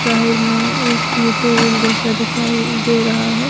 तहीर में एक ये टोल जैसा दिखाई दे रहा है।